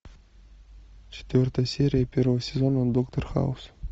четвертая серия первого сезона доктор хаус